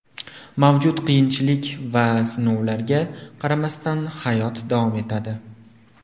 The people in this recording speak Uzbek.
Mavjud qiyinchilik va sinovlarga qaramasdan, hayot davom etadi.